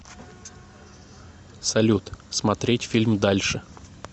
салют смотреть фильм дальше